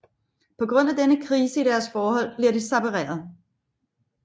På grund af denne krise i deres forhold bliver de separeret